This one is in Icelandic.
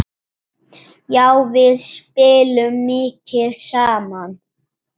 Já, við spilum mikið saman.